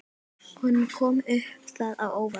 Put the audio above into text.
Honum kom það á óvart.